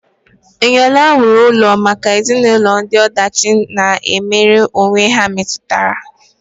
Eniola wuru ụlọ maka ezinụlọ ndị ọdachi na-emere onwe ha metụtara.